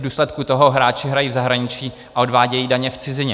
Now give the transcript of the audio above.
V důsledku toho hráči hrají v zahraničí a odvádějí daně v cizině.